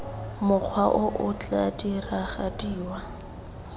mokgwa o o tla diragadiwa